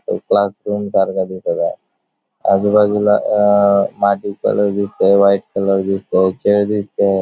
ते क्लासरूम सारख दिसत आहे आजूबाजूला अ माटी कलर दिसतय व्हाइट कलर दिसतय चेअर दिसतेय.